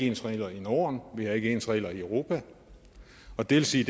ens regler i norden vi har ikke ens regler i europa og det vil sige